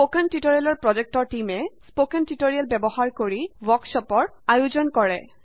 spoken tutorial project টীমে spoken tutorial ব্যৱহাৰ কৰি ৱৰ্কশ্বপৰ আয়োজন কৰে